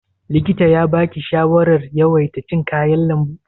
Likita ya baki shawarar yawaita cin kayan lambu?